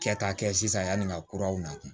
Kɛ ka kɛ sisan yanni ka kuraw na